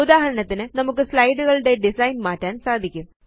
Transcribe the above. ഉദാഹരണത്തിന് നമുക്ക് സ്ലൈഡുകളുടെ ഡിസൈൻ മാറ്റാന് സാധിക്കും